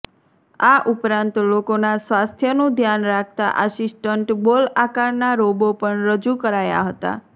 આ ઉપરાંત લોકોના સ્વાસ્થ્યનું ધ્યાન રાખતા આસિસ્ટન્ટ બોલ આકારના રોબો પણ રજૂ કરાયા હતા